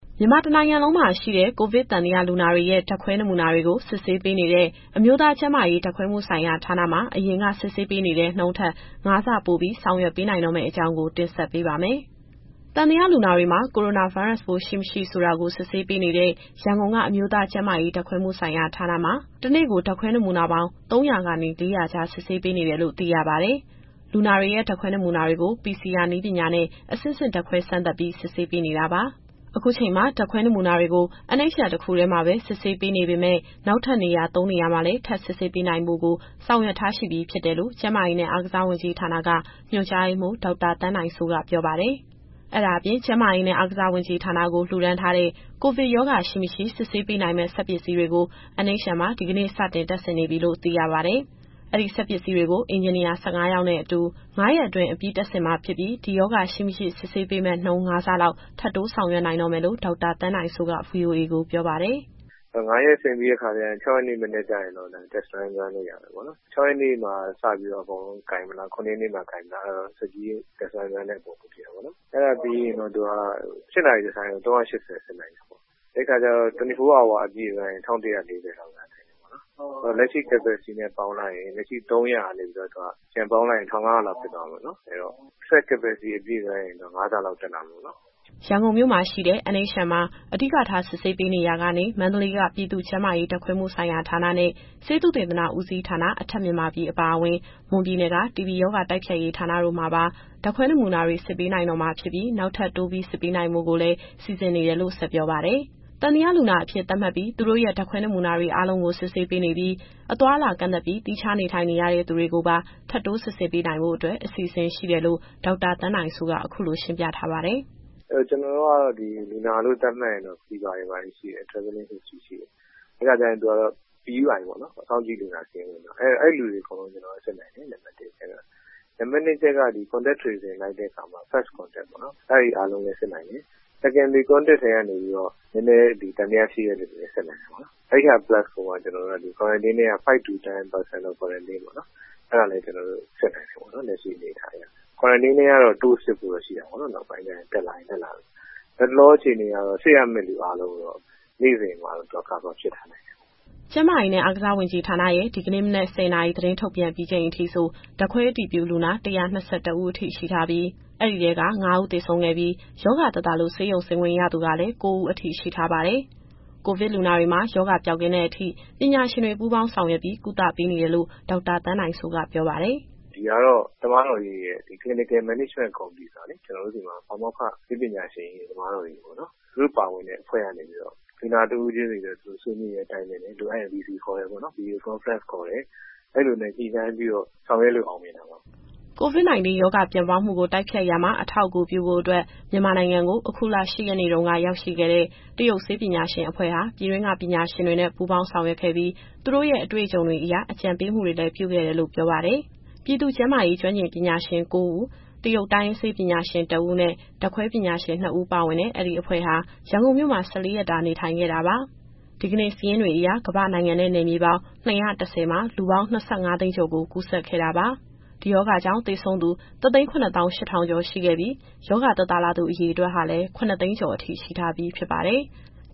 မြန်မာတနိုင်ငံလုံးမှာ ရှိတဲ့ ကိုဗစ်သံသယလူနာတွေရဲ့ ဓာတ်ခွဲနမူနာတွေကို စစ်ဆေးပေးနေတဲ့ အမျိုးသားကျန်းမာရေး ဓာတ်ခွဲမှုဆိုင်ရာဌာနမှာ အရင်ကစစ်ဆေးတဲ့နှုန်းထက် ၅ ဆပိုပြီးဆောင်ရွက်ပေးနိုင်တော့မယ့်အကြောင်းကို တင်ဆက်ပေးပါမယ်။ သံသယလူနာတွေမှာ ကိုရိုနာဗိုင်းရပ်စ်ပိုး ရှိ၊ မရှိဆိုတာကို စစ်ဆေးပေးနေတဲ့ ရန်ကုန်က အမျိုးသားကျန်းမာရေးဓာတ်ခွဲမှုဆိုင်ရာဌာန (NHL) မှာ တနေ့ကို ဓာတ်ခွဲနမူနာပေါင်း ၃၀၀ ကနေ ၄၀၀ ကြား စစ်ပေးနေတယ်လို့ သိရပါတယ်။ လူနာတွေရဲ့ ဓာတ်ခွဲနမူနာတွေကို PCR နည်းပညာနဲ့ အဆင့်ဆင့်ဓာတ်ခွဲစမ်းသပ်ပြီး စစ်ဆေးနေတာပါ။ အခုချိန်မှာ ဓာတ်ခွဲနမူနာတွေကို NHL တခုတည်းမှာပဲ စစ်ဆေးပေးနေပေမယ့် နောက်ထပ်နေရာသုံးနေရာမှာ စစ်ဆေးနိုင်ဖို့ကိုလည်း ဆောင်ရွက်ထားရှိပြီး ဖြစ်တယ်လို့ ကျန်းမာရေးနဲ့ အားကစားဝန်ကြီးဌာနက ညွှန်ကြားရေးမှူး ဒေါက်တာသန်းနိုင်စိုးက ပြောပါတယ်။ အဲ့ဒါအပြင် ကျန်းမာရေးနဲ့ အားကစားဝန်ကြီးဌာနကို လှူဒါန်းထားတဲ့ ကိုဗစ်ရောဂါရှိ၊ မရှိစစ်ဆေးပေးနိုင်မယ့် စက်ပစ္စည်းတွေကို NHL မှာ ဒီကနေ့ စတင်တပ်ဆင်နေပြီလို့ သိရပါတယ်။ အဲဒီစက်ပစ္စည်းတွေကို အင်ဂျင်နီယာ ၁၅ ယောက်နဲ့ ၅ ရက်အတွင်းအပြီး တပ်ဆင်မှာဖြစ်ပြီး ရောဂါရှိ၊ မရှိ စစ်ဆေးပေးမယ့် နှုန်း ၅ ဆလောက် ထပ်တိုးဆောင်ရွက်နိုင်တော့မယ်လို့ ဒေါက်တာသန်းနိုင်စိုးက ဗွီအိုအေကို ပြောပါတယ်။ “အဲတော့ ၅ ရက်အပြီး ဆင်ပြီးတဲ့အခါကျရင် ၆ ရက်နေ့ မနက်မှာတော့ Test Run ပေးရမယ်ပေါ့နော်။ ၆ ရက်နေ့မှာစပြီးတော့ အကုန်လုံး ကိုင်မလား၊ ၇ ရက်နေ့မှာစပြီးတော့ ကိုင်မလား၊ အဲဒါကတော့ စက်ပြီးရဲ့ Test Run ပေါ် မူတည်တာပေါ့နော်။ အဲဒါပြီးရင်တော့ သူက ၈ နာရီတဆိုင်းကို ၃၈၀ စစ်နိုင်တယ်ပေါ့နော်။ ၂၄ နာရီအပြည့်ဆိုရင် ၁၁၄၀ လောက်စစ်နိုင်တယ်ပေါ့နော်။ လက်ရှိစစ်နိုင်တဲ့ ၃၀၀ လောက်နဲ့ပြန်ပေါင်းလိုက်ရင် သူက ၁,၅၀၀ လောက်ဖြစ်သွားမယ်ပေါ့နော်။ အဲတော့ စက် Capacity အပြည့် Run ရင် ၅ ဆလောက်တက်လာမယ်ပေါ့နော်။” ရန်ကုန်မြို့မှာရှိတဲ့ NHL မှာ အဓိကထားစစ်ဆေးပေးနေရာကနေ မန္တလေးက ပြည်သူ့ကျန်းမာရေး ဓာတ်ခွဲမှုဆိုင်ရာဌာနဲ့ ဆေးသုတေသနဦးစီးဌာန (အထက်မြန်မာပြည်) အပါအဝင် မွန်ပြည်နယ်က တီဘီရောဂါ တိုက်ဖျက်ရေးဌာနတို့မှာပါ ဓာတ်ခွဲနမူနာတွေစစ်ပေးနိုင်တော့မှာဖြစ်ပြီး နောက်ထပ်တိုးပြီးစစ်ပေးနိုင်ဖို့ကိုလည်း စီစဉ်နေတယ်လို့ ဆက်ပြောပါတယ်။ သံသယလူနာအဖြစ်သတ်မှတ်ပြီး သူတို့ရဲ့ဓာတ်ခွဲနမူနာအားလုံးကို စစ်ပေးနေပြီး အသွားအလာကန့်သတ်ပြီး သီးခြားနေထိုင်နေတဲ့သူတွေကိုပါ ထပ်တိုးစစ်ပေးနိုင်ဖို့အတွက် အစီအစဉ်ရှိတယ်လို့ ဒေါက်တာသန်းနိုင်စိုးက အခုလိုရှင်းပြထားပါတယ်။ “ကျနော်တို့က လူနာလို့ သတ်မှတ်ရင်တော့ Fever ရှိမယ်၊ Travelling History ရှိမယ်။ အဲဒီခါကျရင်သူကတော့ PUI ပေါ့နော်၊ စောင့်ကြည့်လူနာ စာရင်းဝင်သွားပြီ။ အဲလူတွေအကုန်လုံးကိုစစ်နိုင်တယ် ကျနော်တို့က နံပါတ်တစ်အနေနဲ့။ နံပါတ်နှစ်အချက်က ဒီ Contact Tracing လိုက်တဲ့အခါမှာ 1st Contact ပေါ့နော် အဲဒါတွေ အားလုံးလည်းစစ်နိုင်တယ်။ Secondary Contact ထဲကနေပြီးတော့ နည်းနည်းသံသယရှိတဲ့သူတွေကိုလည်း စစ်နေတယ်ပေ့ါနော်။ အဲဒါ Plus ကိုမှ Quarantine ထဲက 5 to 10 percent of quarantine ပေါ့နော်၊ အဲဒါလည်း ကျနော်တို့စစ်နိုင်တယ်ပေါ့နော် လက်ရှိအနေအထားအရ။ Quarantine ထဲကတော့ တိုးစစ်ဖို့ရှိတာပေါ့နော်၊ နောက်ပိုင်းမှာ တက်လာရင် တက်လာသလို။ လတ်တလော အခြေအနေအရတော့ စစ်ရမယ့်သူ အားလုံးကိုတော့ နေ့စဉ် စစ်ပေးနိုင်တယ်။” ကျန်းမာရေးနဲ့ အားကစားဝန်ကြီးဌာနရဲ့ ဒီကနေ့ မနက် ၁၀နာရီသတင်းထုတ်ပြန်ပြီးချိန်အထိဆို ဓာတ်ခွဲအတည်ပြုလူနာ ၁၂၁ ဦးအထိ ရှိထားပြီး အဲဒီထဲက ၅ ဦးသေဆုံးခဲ့ပြီး ရောဂါသက်သာလို့ ဆေးရုံဆင်းခွင့်ရသူကလည်း ၉ ဦးအထိ ရှိထားပါတယ်။ ကိုဗစ်လူနာတွေမှာ ရောဂါပျောက်ကင်းတဲ့အထိ ပညာရှင်တွေပူးပေါင်းဆောင်ရွက်ပြီး ကုသပေးနေတယ်လို့ ဒေါက်တာသန်းနိုင်စိုးကပြောပါတယ်။ “ဒီဟာကတော့ Clinical Management Committee ဆိုတာလေ ကျနော်တို့ဆီမှာ ပါမောက္ခ၊ ဆေးပညာရှင်ကြီးတွေ၊ သမားတော်ကြီးတွေ သူတို့ပါဝင်တဲ့အဖွဲ့ကနေပြီးတော့ လူနာတဦးချင်းစီနဲ့ သူတို့ဆွေးနွေးတိုင်ပင်တယ်။ လိုအပ်ရင် Video Conference ခေါ်တယ်။ အဲလိုမျိုးညှိနှိုင်းပြီးတော့ ဆောင်ရွက်လို့အောင်မြင်တာပါပဲ။” COVID-19 ရောဂါပြန့်ပွားမှုကို တိုက်ဖျက်ရာမှာ အထောက်အကူပြုဖို့အတွက် မြန်မာနိုင်ငံကို အခုလ ၈ရက်တုန်းကရောက်ရှိခဲ့တဲ့ တရုတ်ဆေးပညာရှင်အဖွဲ့ဟာ ပြည်တွင်းကပညာရှင်တွေနဲ့ ပူးပေါင်းဆောင်ရွက်ခဲ့ပြီး သူတို့ရဲ့အတွေ့အကြုံတွေအရ အကြံပေးမှုတွေလည်း ပြုခဲ့တယ်လို့ ပြောပါတယ်။ ပြည်သူ့ကျန်းမာရေးကျွမ်းကျင်ပညာရှင် ၉ ဦး၊ တရုတ်တိုင်းရင်းဆေးပညာရှင် ၁ ဦးနဲ့ ဓာတ်ခွဲပညာရှင် ၂ ဦးပါဝင်တဲ့ အဲဒီအဖွဲ့ဟာ ရန်ကုန်မြို့မှာ ၁၄ရက်တာနေထိုင်ခဲ့တာပါ။ ဒီကနေ့စာရင်းတွေအရ ကမ္ဘာ့နိုင်ငံနဲ့ နယ်မြေပေါင်း ၂၁၀ မှာ လူပေါင်း ၂၅ သိန်းကျော်ကို ကူးစက်ခဲ့တာပါ။ ဒီရောဂါကြောင့် သေဆုံးသူ ၁၇၈,၀၀၀ ကျော်ရှိခဲ့ပြီး ရောဂါသက်သာလာသူ အရေအတွက်ဟာလည်း ၇၀၀,၀၀၀ ကျော်အထိ ရှိထားပြီဖြစ်ပါတယ်။